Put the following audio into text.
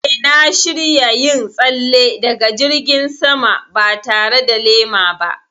Eh, na shirya yin tsalle daga jirgin sama ba tare da lema ba.